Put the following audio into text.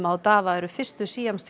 og Dawa eru fyrstu